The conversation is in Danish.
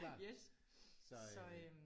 Yes så øh